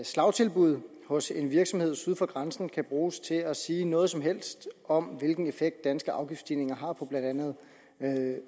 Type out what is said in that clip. slagtilbud hos en virksomhed syd for grænsen kan bruges til at sige noget som helst om hvilken effekt danske afgiftsstigninger har på blandt andet